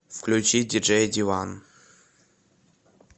включи диджей ди ван